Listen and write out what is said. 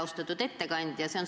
Austatud ettekandja!